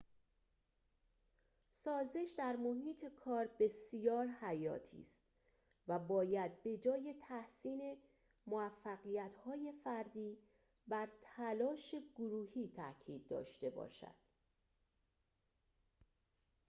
سازش در محیط کار بسیار حیاتی است و باید به‌جای تحسین موفقیت‌های فردی بر تلاش گروهی تأکید داشته باشد